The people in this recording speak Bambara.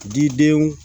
Didenw